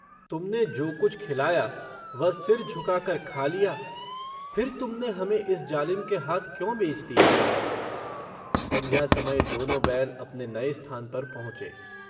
तुमने जो कुछ खिलाया वह सिर झुकाकर खा लिया। फिर तुमने हमें इस जालिम के हाथ क्यों बेच दिया? सन्ध्या समय दोनों बैल अपने नए स्थान पर पहुँचे।